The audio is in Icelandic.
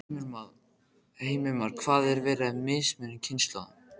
Heimir Már: Það er verið að mismuna kynslóðunum?